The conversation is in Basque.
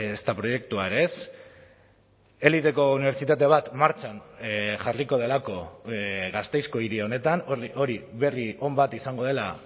ezta proiektua ere ez eliteko unibertsitate bat martxan jarriko delako gasteizko hiri honetan hori berri on bat izango dela